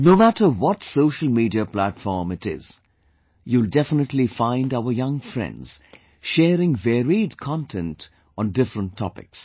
No matter what social media platform it is, you will definitely find our young friends sharing varied content on different topics